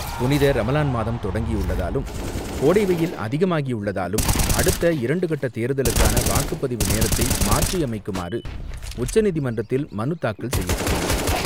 புனித ரமலான் மாதம் தொடங்கியுள்ளதாலும், கோடை வெய்யில் அதிகமாகியுள்ளதாலும் அடுத்த இரண்டு கட்ட தேர்தலுக்கான வாக்குப்பதிவு நேரத்தை மாற்றியமைக்குமாறு உச்சநீதிமன்றத்தில் மனு தாக்கல் செய்யப்பட்டுள்ளது.